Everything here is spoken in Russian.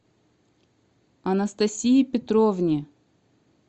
анастасии петровне